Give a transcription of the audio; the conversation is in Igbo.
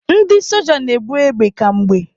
Ndị soja na-ebu égbè kwa mgbe.